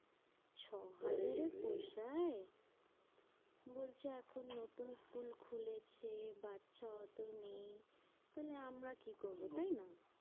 ছ এই রে হাজারে পোষায়? বলছে এখন নতুন school খুলেছে বাচ্চা অত নেই। তাহলে আমরা কি করবো? তাই না?